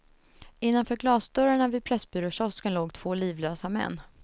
Innanför glasdörrarna vid pressbyråkiosken låg två livlösa män.